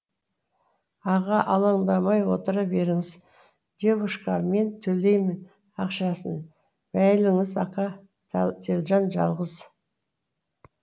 аға алаңдамай отыра беріңіз девушка мен төлеймін ақшасын мәйліңіз ака телжан жалғыз